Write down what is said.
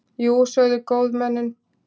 Jú, sögðu góðmennin.